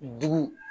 Dugu